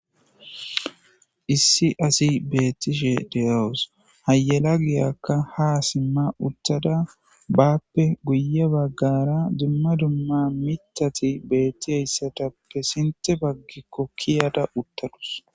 Issi assi bettisshe deeawuss ha yelagiyakka ha siimma uththada baappe guuye baagara dumma dumma mittati beetiyssattappe siintte baaggiko kiiyadda uththadus.